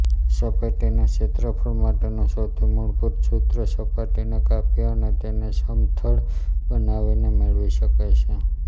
સપાટીના ક્ષેત્રફળ માટેનું સૌથી મૂળભૂત સૂત્ર સપાટીને કાપી અને તેને સમથળ બનાવીને મેળવી શકાય છે